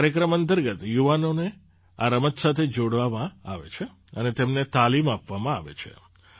આ કાર્યક્રમ અંતર્ગત યુવાનોને આ રમત સાથે જોડવામાં આવે છે અને તેમને તાલીમ આપવામાં આવે છે